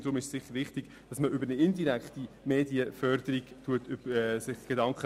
Deshalb ist es sicher wichtiger, über eine indirekte Medienförderung nachzudenken.